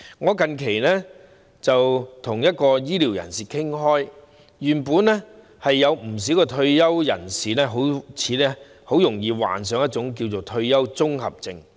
我最近跟一位醫療界人士傾談，知悉原來退休人士很容易患上退休綜合症。